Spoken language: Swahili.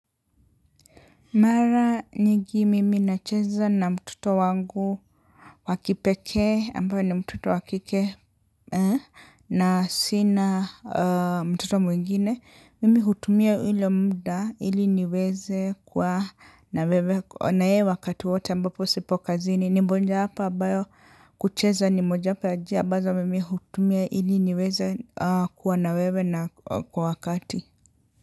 Mara nyingi mimi nacheza na mtoto wangu wakipekee ambae ni mtoto wakike na sina mtoto mwingine mimi hutumia ile muda ili niweze kuwa na wewe na yeye wakati wote ambapo sipo kazini ni mojawapo ambayo kucheza ni mojawapo ya njia ambazo mimi hutumia ili niweze kuwa na wewe na kwa wakati.